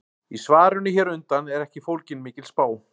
Í svarinu hér á undan er ekki fólgin mikil spá.